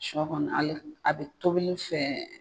Suyɔ kɔni ale a bɛ tobili fɛ.